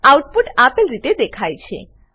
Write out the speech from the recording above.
output આપેલ રીતે દેખાય છે